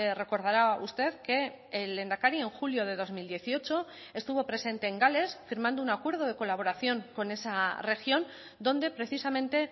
recordará usted que el lehendakari en julio de dos mil dieciocho estuvo presente en gales firmando un acuerdo de colaboración con esa región donde precisamente